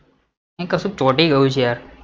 અહીં કશુક ચોંટી ગયું છે યાર